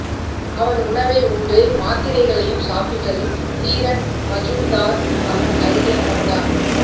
அவன் உணவை உண்டு மாத்திரைகளையும் சாப்பிட்டதும் தீரன் மஜூம்தார் அவன் அருகே அமர்ந்தார்